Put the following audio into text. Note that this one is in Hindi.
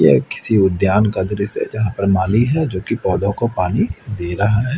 ये किसी उद्यान का दृश्य है जहां पर माली है जो की पोधौ को पानी दे रहा है।